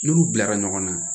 N'olu bilara ɲɔgɔn na